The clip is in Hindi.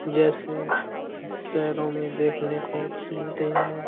जैसे शहरों में देखने को मिलते हैं।